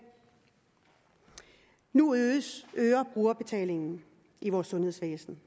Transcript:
nu øger brugerbetalingen i vores sundhedsvæsen